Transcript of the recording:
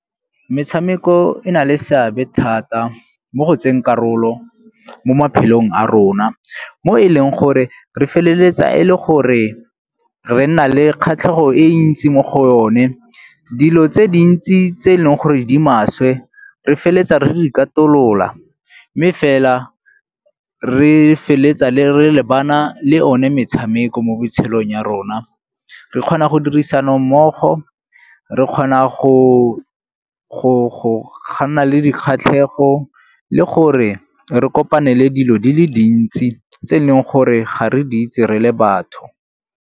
Metshameko e na le seabe thata mo go tseyeng karolo mo maphelong a rona, mo e leng gore re feleletsa e le gore re nna le kgatlhego e ntsi mo go yone. Dilo tse dintsi tse e leng gore di maswe re feleletsa re di katolola mme fela re feleletsa le re lebana le one metshameko mo botshelong ya rona. Re kgona go tirisano mmogo, re kgona go kganna le dikgatlhegelo le gore re kopanele dilo di le dintsi tse e leng gore ga re di itse re le batho.